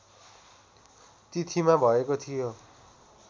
तिथिमा भएको थियो